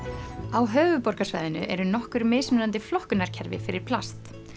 á höfuðborgarsvæðinu eru nokkur mismunandi flokkunarkerfi fyrir plast